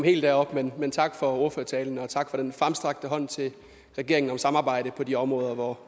helt derop men tak for ordførertalen og tak for den fremstrakte hånd til regeringen om samarbejde på de områder hvor